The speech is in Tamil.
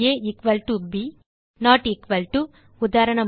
ab நோட் எக்குவல் to உதாரணமாக